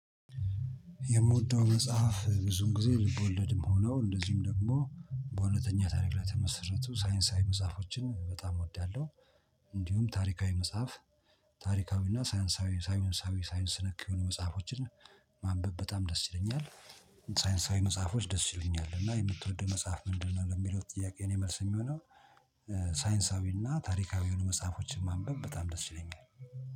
የምወደው መጽሐፍ ብዙን ጊዜ ልብ ወለድም ሆነው እንደዚሁም ደግሞ በእሁውተኛ ታሪክ ላይ ተመሰረቱ ሳይንሳዊ መጽሐፎችን በጣም እወዳለሁ። እንዲሁም ታሪካዊ መጽሐፍ። ታሪካዊ እና ሳይንሳዊ ሳይንሳዊ ሳይንስ ነክ የሆኑ መጽሐፎችን። ማንበብ በጣም ደስ ይለኛል። ሳይንሳዊ መጽሐፎች ደስ ይሉኛል እና የምትወደው መጽሐፍ ምንድነው ለሚለው ጥያቄ የኔ መልስ የሚሆነው። ሳይንሳዊና ታሪካዊ የሆኑ መጽሐፎችን ማንበብ በጣም ደስ ይለኛል